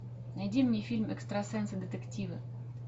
найди мне фильм экстрасенсы детективы